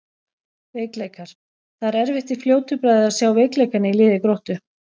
Veikleikar: Það er erfitt í fljótu bragði að sjá veikleikana í liði Gróttu.